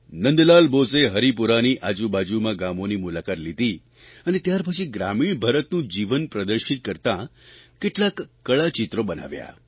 નંદલાલ બોઝે હરિપુરાની આજુબાજુનાં ગામોની મુલાકાત લીધી ને ત્યારપછી ગ્રામીણ ભારતનું જીવન પ્રદર્શિત કરતાં કેટલાંક કળાચિત્રો બનાવ્યાં